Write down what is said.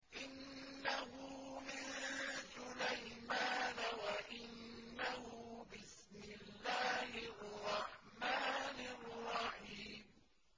إِنَّهُ مِن سُلَيْمَانَ وَإِنَّهُ بِسْمِ اللَّهِ الرَّحْمَٰنِ الرَّحِيمِ